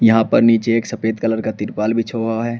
यहां पर नीचे एक सफेद कलर का तिरपाल बिछा हुआ है।